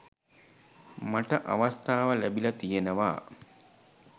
මට අවස්ථාව ලැබිලා තියෙනවා.